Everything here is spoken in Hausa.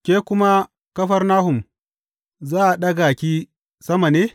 Ke kuma Kafarnahum, za a ɗaga ki sama ne?